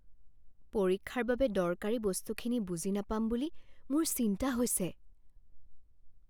পৰীক্ষাৰ বাবে দৰকাৰী বস্তুখিনি বুজি নাপাম বুলি মোৰ চিন্তা হৈছে।